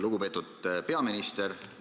Lugupeetud peaminister!